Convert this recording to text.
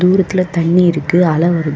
தூரத்துல தண்ணி இருக்கு அல வருது.